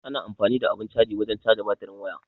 Ana amfani da abun caji wajen caja batirin waya.